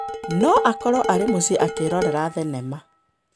No akorũo arĩ mũciĩ akĩrorera thenema.